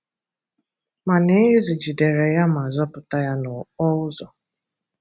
Mànà Ezi jìdèrè ya mà zọpụta ya n’ọ́kpó ụzọ.